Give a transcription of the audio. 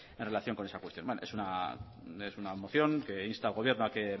en relación con esta cuestión vale es una moción que insta al gobierno a que